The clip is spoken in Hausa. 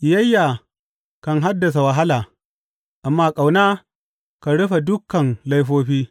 Ƙiyayya kan haddasa wahala, amma ƙauna kan rufe dukan laifofi.